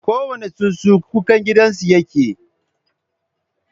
Kowane tsuntsu, kukan gidansu yake yi.